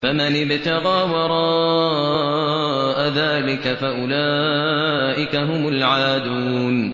فَمَنِ ابْتَغَىٰ وَرَاءَ ذَٰلِكَ فَأُولَٰئِكَ هُمُ الْعَادُونَ